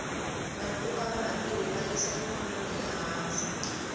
vanhu voka vanga tirhi va yisa ikhonomi ehansi